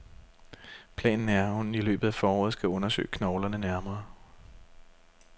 Planen er, at hun i løbet af foråret skal undersøge knoglerne nærmere.